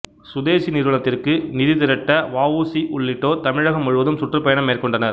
சுதேசி நிறுவனத்திற்கு நிதி திரட்ட வ உ சி உள்ளிட்டோர் தமிழகம் முழுவதும் சுற்றுப்பயணம் மேற்கொண்டனர்